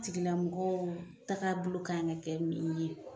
Tigilamɔgɔw taga bolo kan ka kɛ min ye